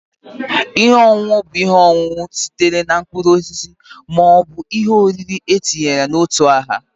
Ihe ọṅụṅụ bụ ihe ọṅụṅụ sitere na mkpụrụ osisi ma ọ bụ ihe oriri a na-etinye n'ime otu aha